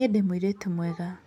Niĩ ndĩ mũirĩtu mwega